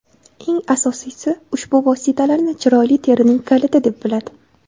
Eng asosiysi, ushbu vositalarni chiroyli terining kaliti, deb biladi.